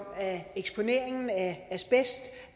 at eksponeringen af asbest